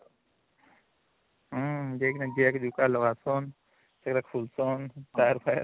ହୁଁ ସେଗୁଡା ଖୁଲଚନ tyre fire